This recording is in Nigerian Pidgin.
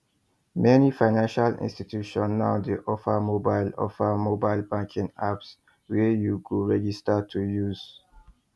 meni financial institutions now dey offer mobile offer mobile banking apps wey you go register to use